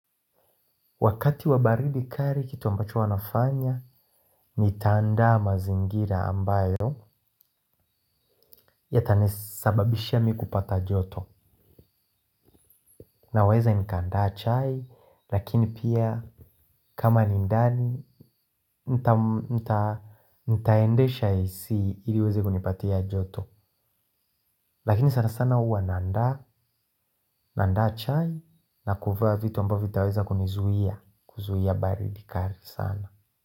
Wakati wa baridi kali kitu ambacho huwanafanya nita andaa mazingira ambayo ya tanisababishia mi kupata joto. Naweza nika andaa chai lakini pia kama ni ndani nitaendesha AC ili iweze kunipatia joto. Lakini sana sana huwa naanda na andaa chai na kuva vitu ambavyo vitaweza kunizuia kuzuia baridi kali sana.